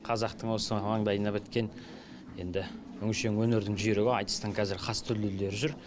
қазақтың осы маңдайына біткен енді өңшең өнердің жүйрігі айтыстың қазір хас дүлділдері жүр